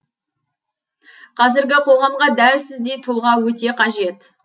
қазіргі қоғамға дәл сіздей тұлға өте қажет